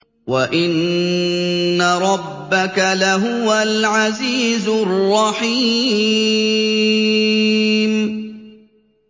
وَإِنَّ رَبَّكَ لَهُوَ الْعَزِيزُ الرَّحِيمُ